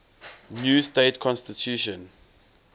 new state constitution